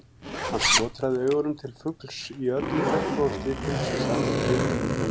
Hann skotraði augunum til fugls í öllum regnbogans litum sem sat á priki í búri.